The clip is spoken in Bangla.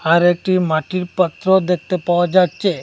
আর একটি মাটির পাত্র দেখতে পাওয়া যাচ্ছে।